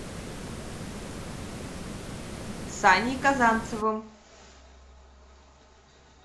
саней казанцевым